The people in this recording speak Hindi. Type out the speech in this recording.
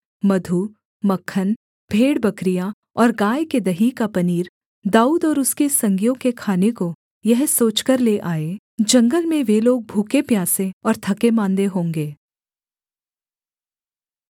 मधु मक्खन भेड़बकरियाँ और गाय के दही का पनीर दाऊद और उसके संगियों के खाने को यह सोचकर ले आए जंगल में वे लोग भूखे प्यासे और थकेमाँदे होंगे